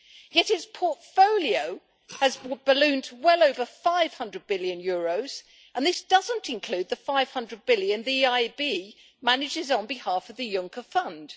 Yet its portfolio has ballooned to well over EUR 500 billion and this doesn't include the 500 billion the EIB manages on behalf of the Juncker fund.